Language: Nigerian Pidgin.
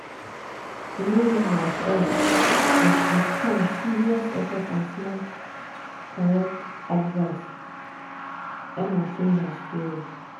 e no easy at all but with time serious effort and small correct advice emma change her story.